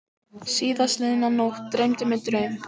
Síðastliðna nótt dreymdi mig draum.